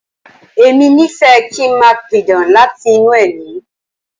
Èmi nífẹ̀ẹ́ kí n máa pidán láti inú ẹ̀mí.